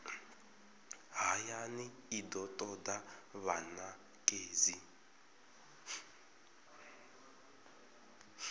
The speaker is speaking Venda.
hayani i do toda vhanekedzi